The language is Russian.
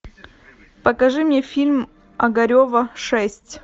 покажи мне фильм огарева шесть